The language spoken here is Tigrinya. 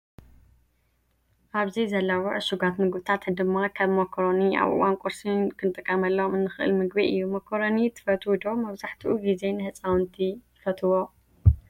ኣብዚ ዘለው ዕሽጋት ምግብታት ድማ ከም ሞኮረኒ ኣብ እዋን ቁርሲ ክንጥቀመሉ እንክእለ ምግቢ እዩ። መኮረኒ ትፈትው ዶ? መብዛሕቲኡ ግዜ ንህፃውቲ ይፈትዎ።